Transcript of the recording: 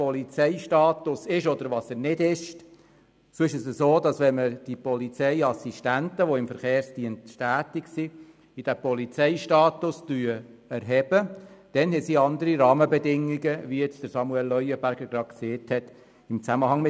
Polizeistaus: Wenn die Polizeiassistenten, welche im Verkehrsdienst tätig sind, in den Polizeistatus erhoben werden, gelten im Zusammenhang mit dem Pensionsalter andere Rahmenbedingungen.